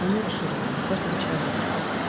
они обширны у каждого человека